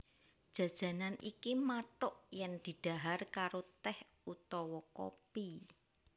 Jajanan iki mathuk yen didhahar karo tèh utawa kopi